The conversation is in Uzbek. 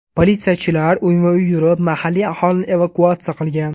Politsiyachilar uyma-uy yurib mahalliy aholini evakuatsiya qilgan.